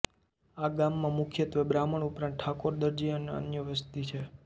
આ ગામમાં મુખ્યત્વે બ્રાહ્મણ ઉપરાંત ઠાકોર દરજી અને અન્ય વસ્તી છે